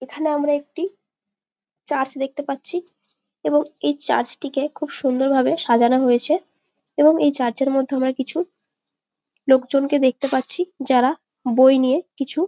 এখানে আমরা একটি চার্চ দেখতে পাচ্ছি এবং এই চার্চ -টিকে খুব সুন্দর ভাবে সাজানো হয়েছে এবং এই চার্চ -এর মধ্যে আমরা কিছু লোকজনকে দেখতে পাচ্ছি যারা বই নিয়ে কিছু--